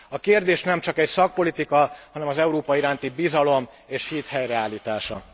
A kérdés nem csak egy szakpolitika, hanem az Európa iránti bizalom és hit helyreállítása.